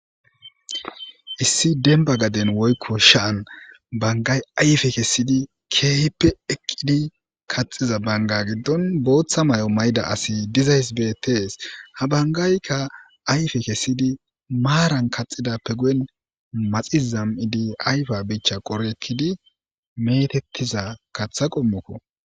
Issi dembba gaden wiykko sha7an banggayi ayfe kessidi keehippe eqqidi kaxxiza bangga giddon bootha mayo msyida asi dezayssi betees. Ha banggaykka ayffe kessidi maaran kaxxidappe guyen maxi zam7idi ayfa kanche qori ekkidi meetetiza kaththa qommokko.